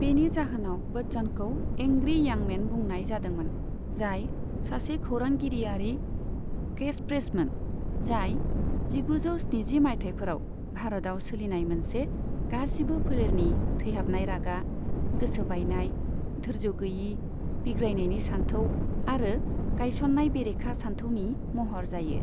बेनि जाहोनाव बच्चनखौ 'एंग्री इयं मैन' बुनाय जादोंमोन, जाय सासे खौरांगिरियारि केचफ्रेजमोन, जाय जिगुजौ स्निजि माइथायफोराव भारतआव सोलिनाय मोनसे गासिबो फोलेरनि थैहाबनाय रागा, गोसो बायनाय, धोर्ज' गोयि, बिग्रायनायनि सान्थौ आरो गायसननाय बेरेखा सानथौनि महर जायो।